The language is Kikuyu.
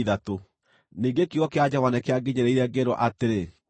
Ningĩ kiugo kĩa Jehova nĩkĩanginyĩrĩire, ngĩĩrwo atĩrĩ: